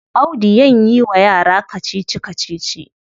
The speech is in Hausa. Audu yan yi wa yara kacici-kacici.